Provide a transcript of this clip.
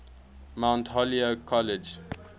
mount holyoke college